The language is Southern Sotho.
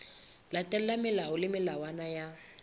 latelwa melao le melawana ya